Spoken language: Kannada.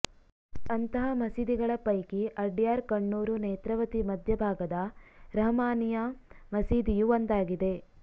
ಅಂತಹ ಮಸೀದಿಗಳ ಪೈಕಿ ಅಡ್ಯಾರ್ ಕಣ್ಣೂರು ನೇತ್ರಾವತಿ ನದಿ ಮದ್ಯ ಭಾಗದ ರಹ್ಮಾನಿಯಾ ಮಸೀದಿಯು ಒಂದಾಗಿದೆ